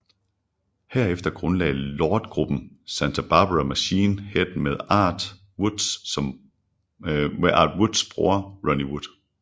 Herefter grundlagde Lord gruppen Santa Barbara Machine Head med Art Woods bror Ronnie Wood